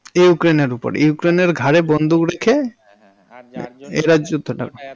Ukraine এর ওপর. Ukraine এর ঘাড়ে বন্দুক রেখে, হ্যাঁ হ্যাঁ যার জন্য এত, এরা যুদ্ধটা।